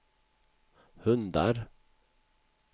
hundar